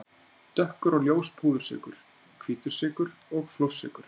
Dökkur og ljós púðursykur, hvítur sykur og flórsykur.